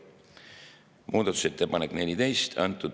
Muudatusettepanek nr 14.